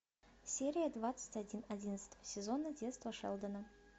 серия двадцать один одиннадцатого сезона детство шелдона